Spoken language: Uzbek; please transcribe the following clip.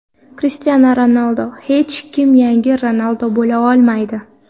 Krishtianu Ronaldu: Hech kim yangi Ronaldu bo‘la olmaydi.